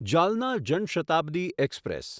જળના જન શતાબ્દી એક્સપ્રેસ